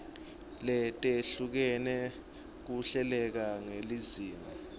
letehlukene kuhleleke ngelizinga